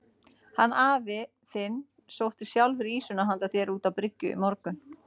Hann afi þinn sótti sjálfur ýsuna handa þér út á bryggju í morgun.